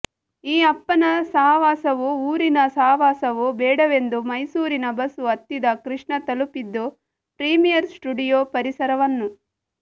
ಈ ಅಪ್ಪನ ಸಹವಾಸವೂ ಊರಿನ ಸಹವಾಸವೂ ಬೇಡವೆಂದು ಮೈಸೂರಿನ ಬಸ್ಸು ಹತ್ತಿದ ಕೃಷ್ಣ ತಲುಪಿದ್ದು ಪ್ರೀಮಿಯರ್ ಸ್ಟುಡಿಯೊ ಪರಿಸರವನ್ನು